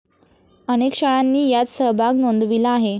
अनेक शाळांनी यात सहभाग नोंदविला आहे.